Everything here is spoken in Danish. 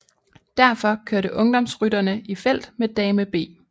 Derfor kørte ungdomsrytterne i felt med Dame B